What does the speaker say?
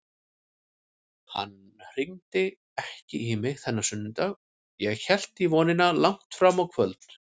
Hann hringdi ekki í mig þennan sunnudag, ég hélt í vonina langt fram á kvöld.